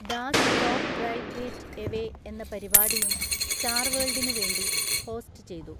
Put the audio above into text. Das top drive get away എന്ന പരിപാടിയും star വേൾടിനു വേണ്ടി ഹോസ്റ്റ് ചെയ്തു.